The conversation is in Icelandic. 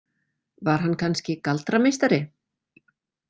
Var hann kannski galdrameistari?